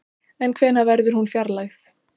En hvenær verður hún fjarlægð?